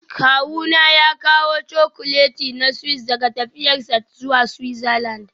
Kawuna ya kawo Chocolate na Swiss daga tafiyarsa zuwa Switzerland